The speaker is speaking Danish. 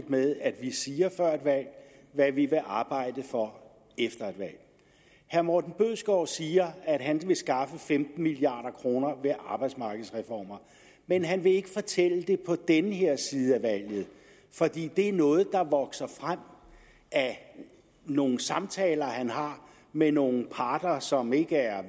med at vi siger før et valg hvad vi vil arbejde for efter et valg herre morten bødskov siger at han vil skaffe femten milliard kroner ved arbejdsmarkedsreformer men han vil ikke fortælle det på den her side af valget fordi det er noget der vokser frem af nogle samtaler han har med nogle parter som ikke er